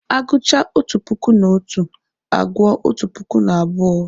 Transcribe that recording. A gụchaa otu puku na otu, a gụọ otu puku na abụọ